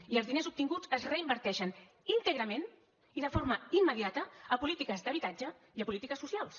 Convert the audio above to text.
i els diners obtinguts es reinverteixen íntegrament i de forma immediata a polítiques d’habitatge i a polítiques socials